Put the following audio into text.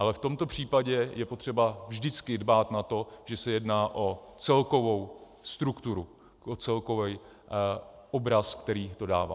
Ale v tomto případě je potřeba vždycky dbát na to, že se jedná o celkovou strukturu, o celkový obraz, který to dává.